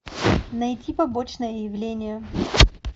найти побочное явление